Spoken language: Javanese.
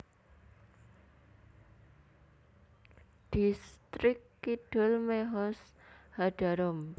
Dhistrik Kidul Mehoz HaDarom